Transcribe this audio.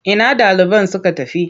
Ina ɗaliban suka tafi?